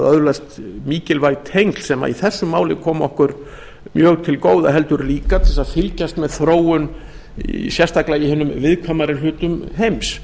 öðlast mikilvæg tengsl sem í þessu máli koma okkur mjög til góða heldur líka til þess að fylgjast með þróun sérstaklega í hinum viðkvæmari hlutum heims